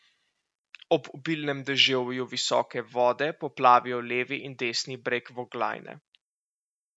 Ob obilnem deževju visoke vode poplavijo levi in desni breg Voglajne.